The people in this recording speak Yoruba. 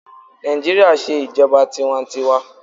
Naijiria n ṣe ijọba tiwantiwaa